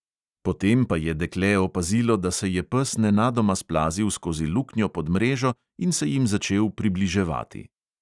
Potem pa je dekle opazilo, da se je pes nenadoma splazil skozi luknjo pod mrežo in se jim začel približevati.